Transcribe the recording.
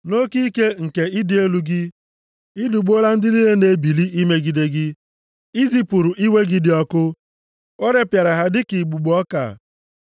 “Nʼoke ike nke ịdị elu gị, Ị lụgbuola ndị niile na-ebili imegide gị. I zipụrụ iwe gị dị ọkụ, o repịara ha dịka igbugbo ọka.